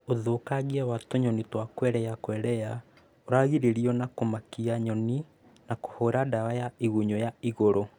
Ũthũkangia wa tũnyoni twa Quelea Quelea ũragirĩrĩrio na kũmakia nyoni na kũhũra ndawa ya igunyũ ya igũrũ